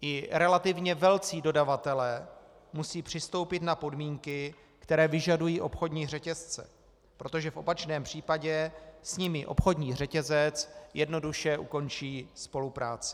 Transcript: I relativně velcí dodavatelé musí přistoupit na podmínky, které vyžadují obchodní řetězce, protože v opačném případě s nimi obchodní řetězec jednoduše ukončí spolupráci.